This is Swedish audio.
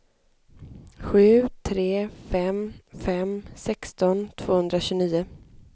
sju tre fem fem sexton tvåhundratjugonio